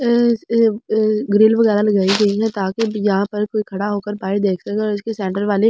Grill वगैरा लगाए गए हैं ताकि यहां पर कोई खड़ा होकर देखे तो उसके सैंट्रल वाले।